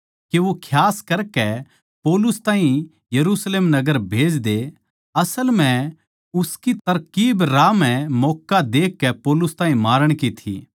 के वो खियास करकै पौलुस ताहीं यरुशलेम नगर भेज दे असल म्ह उसकी तरकीब राह म्ह मौक्का देखकै पौलुस ताहीं मारण की थी